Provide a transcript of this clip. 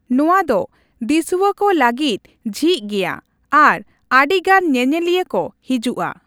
ᱱᱚᱣᱟ ᱫᱚ ᱫᱤᱥᱩᱣᱟᱹ ᱠᱚ ᱞᱟᱹᱜᱤᱫ ᱡᱷᱤᱡ ᱜᱮᱭᱟ ᱟᱨ ᱟᱹᱰᱤᱜᱟᱱ ᱧᱮᱧᱮᱞᱤᱭᱟᱹ ᱠᱚ ᱦᱤᱡᱩᱜᱼᱟ ᱾